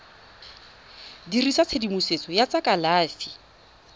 dirisa tshedimosetso ya tsa kalafi